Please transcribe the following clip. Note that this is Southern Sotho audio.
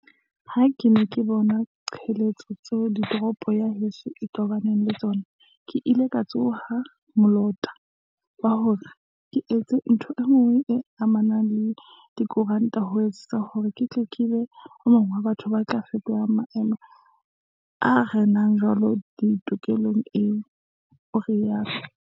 "Ha ke ne ke bona diqholotso tseo toropo ya heso e tobaneng le tsona, ke ile ka tsoha molota wa hore ke etse ntho enngwe e amanang le dikonteraka, ho etsetsa hore ke tle ke be e mong wa batho ba tla fetola maemo a renang jwale tikolohong eo," o rialo.